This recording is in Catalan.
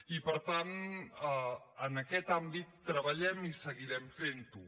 i per tant en aquest àmbit treballem i seguirem fentho